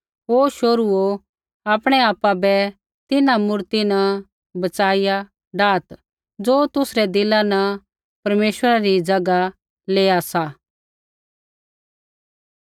हे शोहरूओ आपणै आपा बै तिन्हां मूर्ति न बचाईया डाहत् ज़ो तुसरै दिला न परमेश्वरा री ज़ैगा लेआ सा